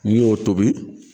N'i y'o tobi